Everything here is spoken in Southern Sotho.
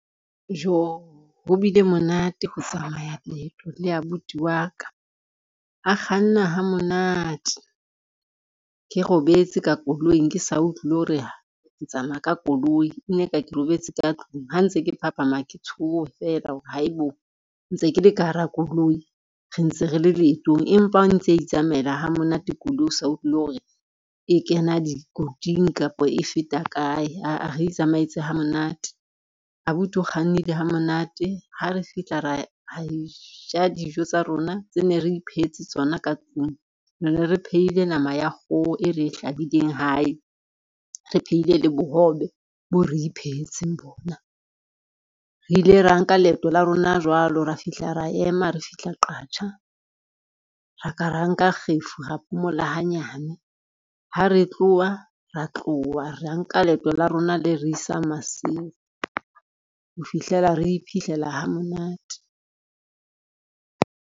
Jo ho bile monate ho tsamaya leeto le abuti wa ka, a kganna ha monate ke robetse ka koloing, ke sa utlwi le hore ke tsamaya ka koloi ene ka ke robetse ka tlung ha ntse ke phaphama, ke tshoha fela hore haebo, ntse ke le ka hara koloi re ntse re le leetong empa ntse itsamaela ha monate koloi o sa utlwile hore e kena dikotsing kapa e feta kae, aa re itsamaetse ha monate. Abuti o kgannile ha monate, ha re fihla ra e ja dijo tsa rona tse ne re iphehetse tsona ka tlung, re ne re phehile nama ya kgoho e re e hlahileng hae, re phehile le bohobe bo re iphehetseng bona. Re ile ra nka leeto la rona jwalo, ra fihla ra ema re fihla Qacha ra ka ra nka kgefu ra phomola hanyane ha re tloha ra tloha ra nka leeto la rona le re isang Maseru ho fihlela re iphihlella ha monate.